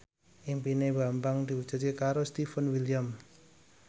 impine Bambang diwujudke karo Stefan William